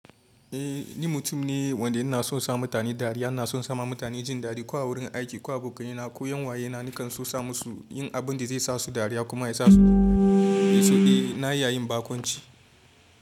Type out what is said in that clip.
Eh ni mutum ne wanda ina son sa mutane dariya, ina son sa ma mutane jin daɗi ko a wurin aiki, ko abokanai na ko 'yan uwayena nakan so sa musu yin abun da zai sa su dariya kuma ya sa su so. Eh na yi yayin baƙunci.